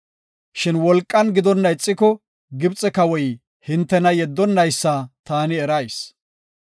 Shin wolqan gidonna ixiko, Gibxe kawoy hintena yeddonnaysa taani erayis.